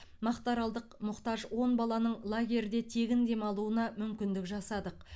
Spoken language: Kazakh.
мақтаралдық мұқтаж он баланың лагерьде тегін дамалуына мүмкіндік жасадық